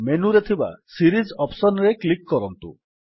ମେନୁରେ ଥିବା series option ରେ କ୍ଲିକ୍ କରନ୍ତୁ